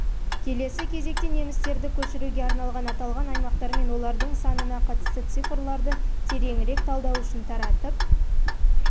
келесі кезекте немістерді көшіруге арналған аталған аймақтар мен олардың санына қатысты цифрларды тереңірек талдау үшін таратып